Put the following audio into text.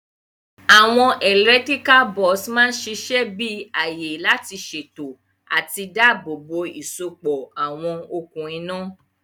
Àwon electrical box ma sisẹ bi àyè lá sèto àti dáàbò bò ìsopọ̀ àwon okùn iná